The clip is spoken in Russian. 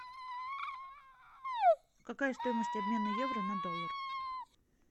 какая стоимость обмена евро на доллар